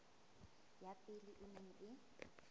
ya pele e neng e